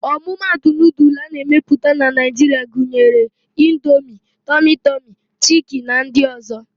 Ọmụmatụ nudul a na-emepụta na Naịjiria gunyere: Indomie, tọmị tọmị, chiki na ndị ọ̀zọ́.